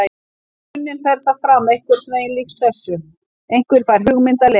Í grunninn fer það fram eitthvað líkt þessu: Einhver fær hugmynd að leik.